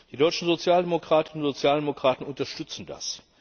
Die deutschen Sozialdemokratinnen und Sozialdemokraten unterstützen das.